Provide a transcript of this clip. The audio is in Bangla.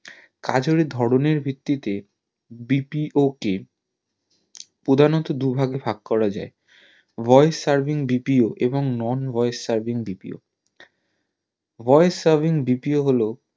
কাজের ধরণের ভিত্তি তে BPO কে প্রধানত দু ভাগে ভাগ করা যাই voice servingBPO এবং non voice servingBPO voice servingBPO হলো